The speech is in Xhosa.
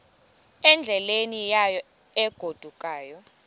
endleleni yayo egodukayo